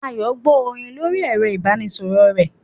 Ayo ń gbọ́ orin lórí ẹ̀rọ ìbánisọ̀rọ̀ rẹ̀